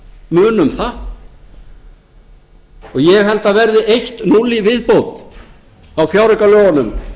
munum það ég held að það verði eitt núll í viðbót á fjáraukalögunum